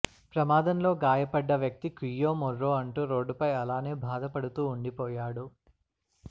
ప్రమాదంలో గాయపడ్డ వ్యక్తి కుయ్యో మొర్రో అంటూ రోడ్డుపై అలానే భాద పడుతూ ఉండిపోయాడు